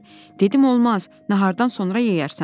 Dedim olmaz, nahardan sonra yeyərsən.